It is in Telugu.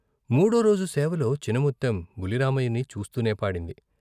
మూడో రోజు సేవలో చినముత్తెం బుల్లి రామయ్యని చూస్తూనే పాడింది.